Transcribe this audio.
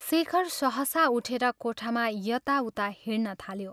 शेखर सहसा उठेर कोठामा यता उता हिंड्न थाल्यो।